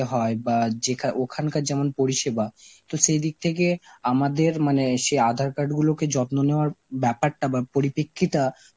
হয় বা যেখা~ ওখানকার যেমন পরিষেবা, তো সেই দিক থেকে আমাদের মানে সেই আঁধার card গুলোকে যত্ন নেওয়ার ব্যাপারটা বা পরিপেক্ষিতা